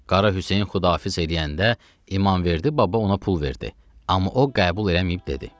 Qara Hüseyn Xudahafiz eləyəndə İmamverdi baba ona pul verdi, amma o qəbul eləməyib dedi.